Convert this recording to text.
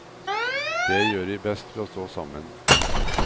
Det gjør vi best ved å stå sammen.